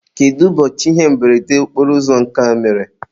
kedu ụbọchị ihe mberede okporoụzọ nke a mere?